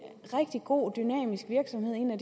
rigtig god og dynamisk virksomhed en af